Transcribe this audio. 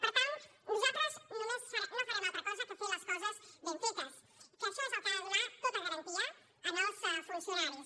per tant nosaltres no farem altra cosa que fer les coses ben fetes que això és el que ha de donar tota garantia als funcionaris